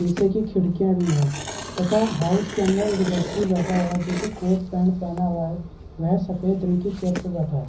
शीशे की खिड़कियाँ भी है तथा हाउस के अंदर एक व्यक्ति बैठा हुआ है जो की कोट पैंट पहना हुआ है यह सफ़ेद रंग की चेयर पर बैठा है।